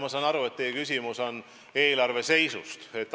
Ma saan aru, et teie küsimus on eelarve seisu kohta.